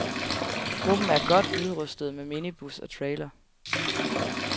Gruppen er godt udrustet med minibus og trailer.